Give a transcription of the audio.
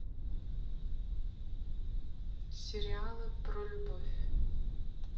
сериалы про любовь